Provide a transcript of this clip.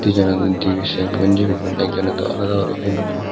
yen dibey same gonji pinnon ek joney daw alada guri pinney.